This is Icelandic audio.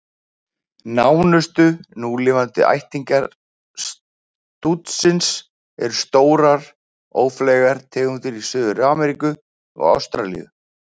Nánustu núlifandi ættingjar stútsins eru stórar, ófleygar tegundir í Suður-Ameríku og Ástralíu.